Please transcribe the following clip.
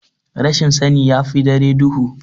Rashin sani yafi dare duhu.